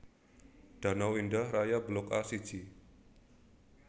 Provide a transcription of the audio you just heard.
Danau Indah Raya Blok A siji